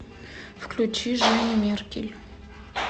включи женю меркель